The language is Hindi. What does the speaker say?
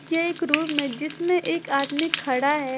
ये एक रूम है जिसमें एक आदमी खड़ा है।